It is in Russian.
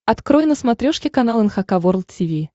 открой на смотрешке канал эн эйч кей волд ти ви